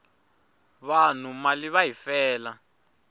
vanhu mali va yi fela